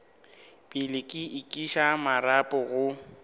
pele ke iša marapo go